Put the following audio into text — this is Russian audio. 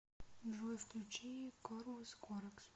джой включи корвус коракс